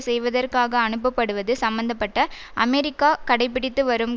செய்வதற்காக அனுப்பப்படுவது சம்மந்த பட்ட அமெரிக்கா கடைபிடித்து வரும்